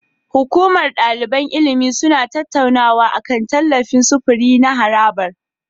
Hukumar daliban ilimi suna tattaunawa akan tallafin sufuri na harabar.